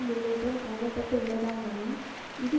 முன்னேற்றம் காண பட்டு உள்ளதாகவும் இது